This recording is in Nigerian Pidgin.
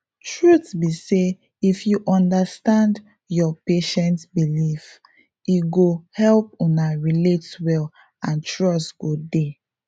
truth be say if you understand your patient beliefs e go help una relate well and trust go dey